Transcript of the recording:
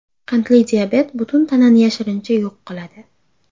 Qandli diabet butun tanani yashirincha yo‘q qiladi.